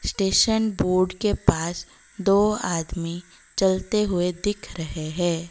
Station board के पास दो आदमी चलते हुए दिख रहे है।